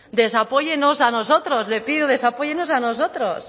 desapóyenos a nosotros le pido desapóyenos a nosotros